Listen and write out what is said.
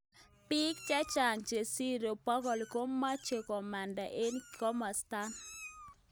Bik chechang chesirei bokol komeche komanda eng kimosatak.